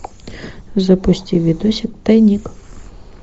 запусти видосик тайник